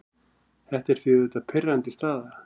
Þetta er því auðvitað pirrandi staða.